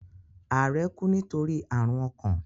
Ààrẹ kú nítorí àrùn ọkàn.